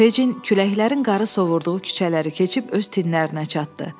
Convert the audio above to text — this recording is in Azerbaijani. Fecin küləklərin qarı sovurduğu küçələri keçib öz tinlərinə çatdı.